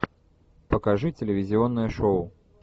покажи телевизионное шоу